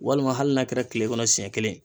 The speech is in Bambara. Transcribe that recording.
Walima hali n'a kɛra tile kɔnɔ siɲɛ kelen